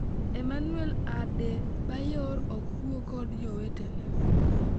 Emmanuel Adebayor ok wuo kod jowetene